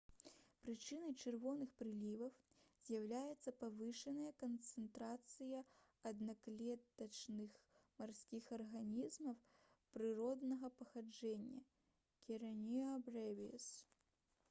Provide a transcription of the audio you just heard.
прычынай чырвоных прыліваў з'яўляецца павышаная канцэнтрацыя аднаклетачных марскіх арганізмаў прыроднага паходжання karenia brevis